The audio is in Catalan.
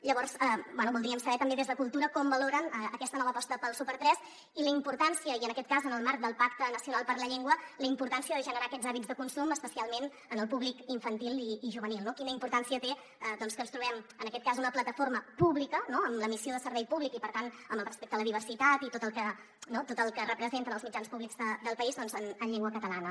llavors bé voldríem saber també des de cultura com valoren aquesta nova aposta pel super3 i la importància i en aquest cas en el marc del pacte nacional per la llengua de generar aquests hàbits de consum especialment en el públic infantil i juvenil no quina importància té que ens trobem en aquest cas una plataforma pública amb la missió de servei públic i per tant amb el respecte a la diversitat i tot el que representen els mitjans públics del país doncs en llengua catalana